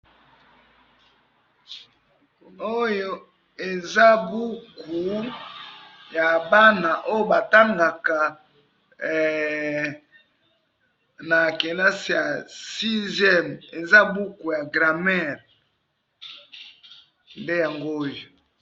oyo eza buku ya bana ba tangaka na kelasi ya 6em eza buku ya grammaire nde yango oyo